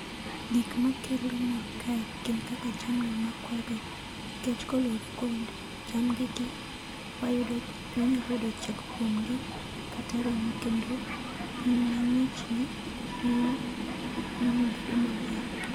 Gik makelo mor kae gin kaka jamni makwayogi, nikech koluwore kod jamnigi wayud wanyalo yudo chak kuom gi kata ring'o. Kendo piny mang'ichni miyo gini bedo maber.